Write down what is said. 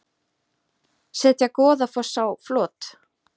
Setja Goðafoss á flot